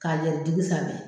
K'a yɛri digi sanfɛ.